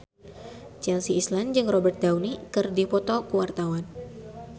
Chelsea Islan jeung Robert Downey keur dipoto ku wartawan